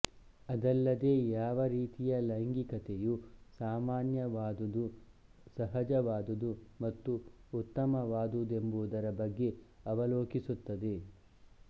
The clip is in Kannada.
ಅದಲ್ಲದೇ ಯಾವ ರೀತಿಯ ಲೈಂಗಿಕತೆಯು ಸಾಮಾನ್ಯವಾದುದು ಸಹಜವಾದುದು ಮತ್ತು ಉತ್ತಮವಾದುದೆಂಬುದರ ಬಗ್ಗೆ ಅವಲೋಕಿಸುತ್ತದೆ